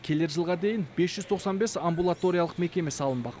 келер жылға дейін бес жүз тоқсан бес амбулаториялық мекеме салынбақ